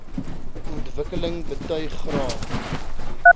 ontwikkeling betuig graag